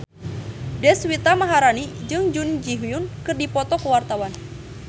Deswita Maharani jeung Jun Ji Hyun keur dipoto ku wartawan